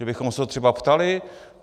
Že bychom se ho třeba ptali?